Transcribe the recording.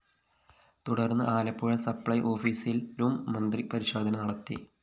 തുടര്‍ന്ന് ആലപ്പുഴ സപ്ലൈ ഓഫീസിലും മന്ത്രി പരിശോധന നടത്തി